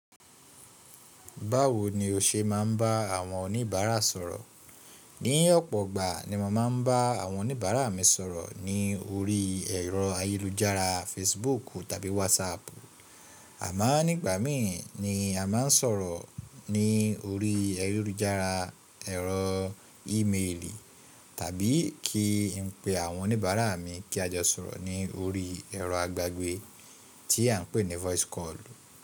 Báwo ni o ṣe máa ń bá àwọn oníbàárà sọ̀rọ̀? Ní ọ̀pọ̀ ọgbà ni màá ń bá àwọn oníbàárà mi sọ̀rọ̀ ní orí ẹ̀rọ ayélujára Facebook tàbí WhatsApp. Àmá nígbà mí ni a máa ń sọ̀rọ̀ ní orí ayélujára ẹ̀rọ ímeèlì tàbí kí n pe àwọn oníbàárà mi kí a jọ sọ̀rọ̀ ní orí ẹ̀rọ agbágbé tí à ń pè ní voice call.